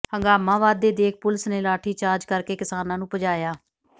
ਹੰਗਾਮਾ ਵੱਧਦੇ ਦੇਖ ਪੁਲਿਸ ਨੇ ਲਾਠੀਚਾਰਜ ਕਰਕੇ ਕਿਸਾਨਾਂ ਨੂੰ ਭਜਾਇਆ